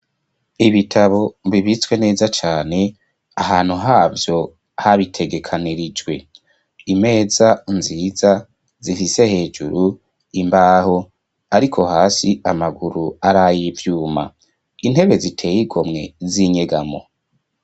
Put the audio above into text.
Ibitabo, bibitswe neza cane, ahantu havyo, habitegekanirijwe; imeza nziza, zifise hejuru, imbaho, ariko hasi, amaguru ari, ay'ivyuma; intebe ziteye igomwe, z'inyegamo.